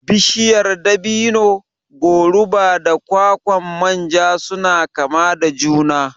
Bishiyar dabino, goruba da kwakwan manja suna kama da juna